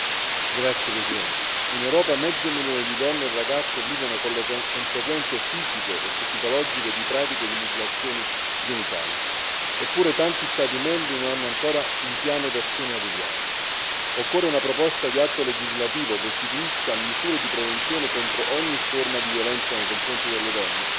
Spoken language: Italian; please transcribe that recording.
Signor Presidente, onorevoli colleghi, in Europa mezzo milione di donne e ragazze vivono con le conseguenze fisiche e psicologiche di pratiche di mutilazioni genitali, eppure tanti Stati membri non hanno ancora un piano d'azione al riguardo. Occorrono una proposta di atto legislativo che istituisca misure di prevenzione contro ogni forma di violenza nei confronti delle donne